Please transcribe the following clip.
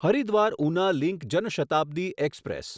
Haridwar Una link Jan Shatabdi express